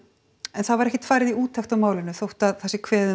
en það var ekkert farið í úttekt á málinu þótt að það sé kveðið